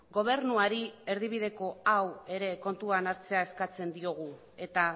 gobernuari erdibideko hau ere kontuan hartzea eskatzen diogu eta